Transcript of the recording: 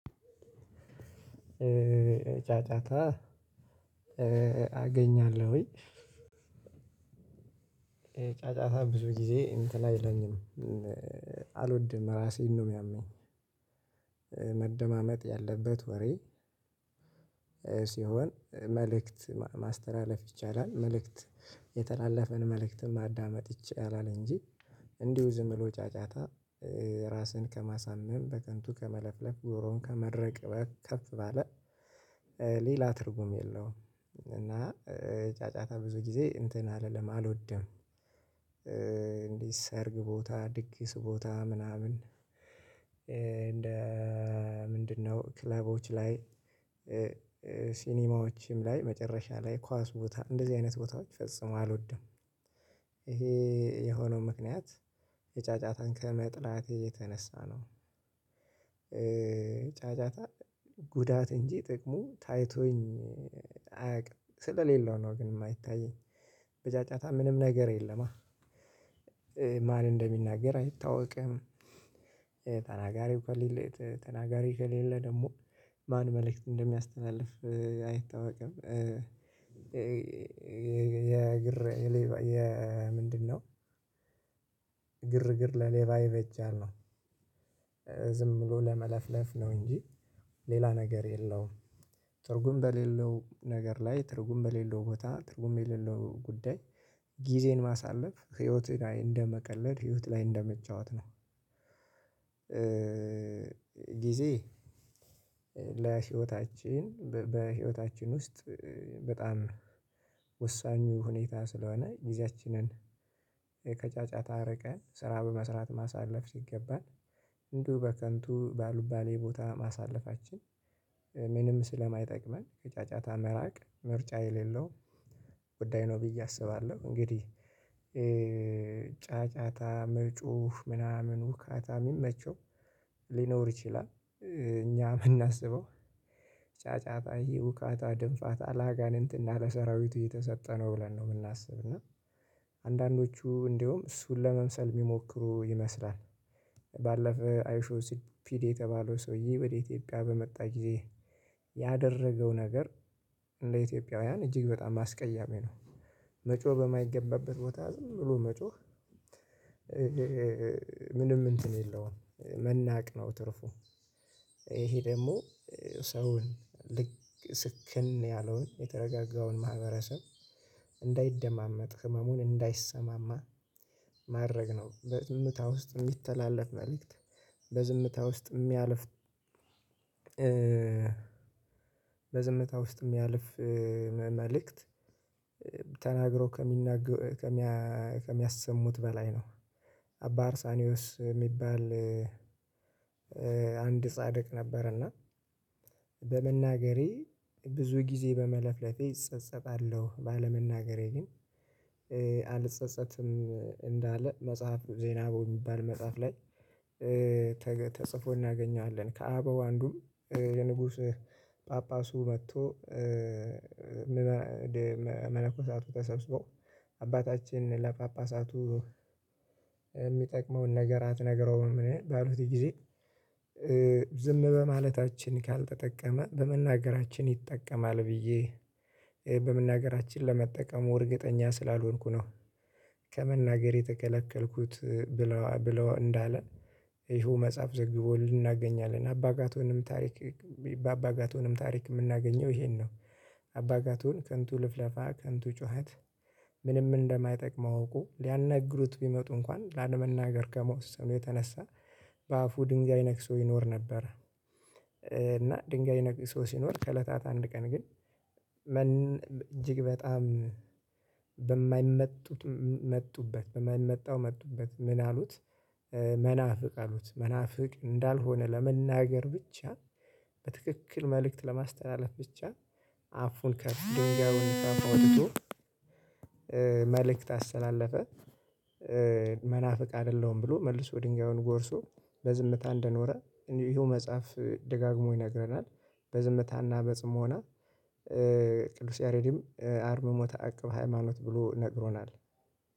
ጫጫታ አገኛለሁኝ። ጫጫታ ብዙ ጊዜ እንትን አይለኝም አልወድም ራሴን ነው የሚያመኝ መደማመጥ ያለበት ወሬ ሲሆን መልእክት ማስተላለፍ ይቻላል መልእክት የተላለፈን መልእክትን ማዳመጥ ይቻላል እንጂ እንዲሁ ዝም ብሎ ጫጫታ ራስን ከማሳመም በከንቱ ከመለፍለፍ ጎሮሮውን ከመድረቅ በከፍ ባለ ሌላ ትርጉም የለውም። እና ጫጫታ ብዙ ጊዜ እንትን አልልም አልወደም። እንዲህ ሰርግ ቦታ ድግስ ቦታ ምናምን እንደ ምንድነው ክለቦች ላይ ሲኒማዎችም ላይ መጨረሻ ላይ ኳስ ቦታ እንደዚህ አይነት ቦታዎች ፈጽሞ አልወደም። ይሄ የሆነው ምክንያት የጫጫታን ከመጥላት የተነሳ ነው። ጫጫታ ጉዳት እንጂ ጥቅሙ ታይቶኝ አያውቅም ስለሌለው ነው። ግን የማይታየኝ በጫጫታ ምንም ነገር የለማ ማን እንደሚናገር አይታወቅም። ተናጋሪው ከሌለ ተናጋሪ ከሌለ ደግሞ ማን መልእክት እንደሚያስተናልፍ አይታወቅም። የግር የሌባ የምንድነው ግርግር ለሌባ ይበጃል ነው። ዝም ብሎ ለመለፍለፍ ነው እንጂ ሌላ ነገር የለውም። ትርጉም በሌለው ነገር ላይ ትርጉም በሌለው ቦታ ትርጉም የሌለው ጉዳይ ጊዜን ማሳለፍ ህይወትህ ላይ እንደመቀለድ ህይወት ላይ እንደመጫወት ነው። ጊዜ ለህይወታችን በህይወታችን ውስጥ በጣም ወሳኙ ሁኔታ ስለሆነ ጊዜያችንን ከጫጫታ አረቀን ስራ በመስራት ማሳለፍ ሲገባን እንዲሁ በከንቱ በአልባሌ ቦታ ማሳለፋችን ምንም ስለማይጠቅመን ከጫጫታ መራቅ ምርጫ የሌለው ጉዳይ ነው ብዬ አስባለሁ እንግዲህ። ጫጫታ መጮህ ምናምን ሁካታ የሚመቸው ሊኖር ይችላል። እኛ የምናስበው ጫጫታ ይሄ ሁካታ ድንፋታ ለአጋንንት እና እና ለሰራዊቱ የተሰጠ ነው ብለን ነው የምናስብ እና አንዳንዶቹ እንደውም እሱን ለመምሰል የሚሞክሩ ይመስላል። ባለፈ አይሾውስፒዲ የተባለው ሰውዬ ወደ ኢትዮጵያ በመጣ ጊዜ ያደረገው ነገር ለኢትዮጵያውያን እጅግ በጣም አስቀያሚ ነው። መጮህ በማይገባበት ቦታ ዝም ብሎ መጮህ ምንም እንትን የለውም መናቅ ነው ትርፉ። ይሄ ደግሞ ሰውን ልክ ስክን ያለውን የተረጋጋውን ማህበረሰብ እንዳይደማመጥ ህመሙን እንዳይሰማማ ማድረግ ነው። በዝምታ ውስጥ የሚተላለፍ መልእክት በዝምታ ውስጥ የሚያልፍ በዝምታ ውስጥ የሚያልፍ መልእክት ተናግረው ከሚናገሩ ከሚያሰሙት በላይ ነው። አባ አርሳኒዮስ የሚባል አንድ ጻድቅ ነበር። እና በመናገሬ ብዙ ጊዜ በመለፍለፌ እጸጸታለሁ ባለመናገሬ ግን አልጸጸትም። እንዳለ መጽሐፍ ዜና በሚባል መጽሐፍ ላይ ተጽፎ እናገኘዋለን። ከአበው አንዱም የንጉስ ጳጳሱ መጥቶ መነኮሳቱ ተሰብስበው አባታችን ለጳጳሳቱ የሚጠቅመውን ነገር አትነግረውም ባሉት ጊዜ ዝም በማለታችን ካልተጠቀመ በመናገራችን ይጠቀማል ብዬ በመናገራችን ለመጠቀሙ እርግጠኛ ስላልሆንኩ ነው። ከመናገር የተከለከልኩት ብለው ብለው እንዳለ ይሄው መጽሐፍ ዘግቦልን እናገኛለን። አባጋቶንም ታሪክ በአባጋቶንም ታሪክ የምናገኘው ይሄን ነው። አባጋቱን ከንቱ ልፍለፋ ከንቱ ጩኸት ምንም እንደማይጠቅመው እውቆ ሊያነግሩት ቢመጡ እንኳን ላለመናገር ከመወሰኑ የተነሳ በአፉ ድንጋይ ነክሶ ይኖር ነበር። እና ድንጋይ ነክሶ ሲኖር ከእለታት አንድ ቀን ግን እጅግ በጣም በማይመጡት መጡበት በማይመጣው መጡበት ምን አሉት? መናፍቅ አሉት መናፍቅ እንዳልሆነ ለመናገር ብቻ በትክክል መልእክት ለማስተላለፍ ብቻ አፉን ከድንጋዩን ከአፉ አውጥቶ መልእክት አስተላለፈ። መናፍቅ አይደለሁም ብሎ መልሶ ድንጋዩን ጎርሶ በዝምታ እንደኖረ ይሄው መጽሐፍ ደጋግሞ ይነግረናል። በዝምታ እና በጽሞና ቅዱስ ያሬዲም አርምሞ ተአቅብ ሃይማኖት ብሎ ነግሮናል